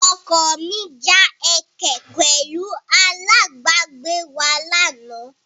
Ọkọ mi ja ẹkẹ pẹ̀lú alábàágbé wa lánàá.